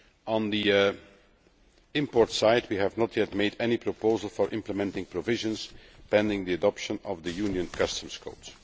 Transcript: On the import side, we have not yet made any proposal for implementing provisions pending the adoption of the Union Customs Code.